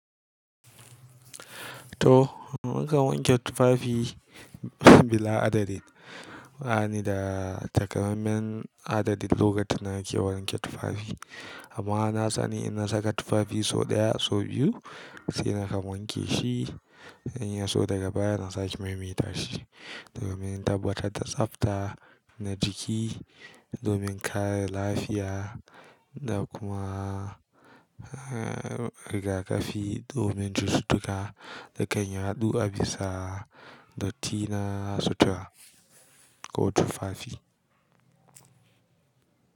Toh, na kan wanke tufafi bila adadi. Ba ni da takaimaiman adadin lokaci da na ke wanke tufafi. Amma na sani in na saka tufafi sau ɗaya sau biyu sai na kan wanke shi. In ya so daga baya na sake maimaita shi domin tabbatar da tsafta na jiki, domin kare lafiya da kuma rigaƙafi domin cututtuka da kan yaɗu a bisa dattina sutura ko tufafi.